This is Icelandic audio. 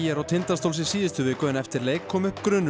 og Tindastóls í síðustu viku en eftir leik kom upp grunur um